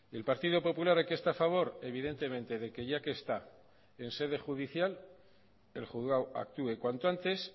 el partido popular de qué está a favor evidentemente de que ya que está en sede judicial el juzgado actúe cuanto antes